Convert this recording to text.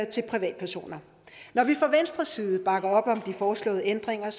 til privatpersoner når vi fra venstres side bakker op om de foreslåede ændringer er